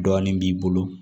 Dɔɔnin b'i bolo